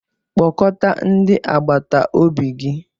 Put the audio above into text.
Kpọkọta ndị agbata obi gi!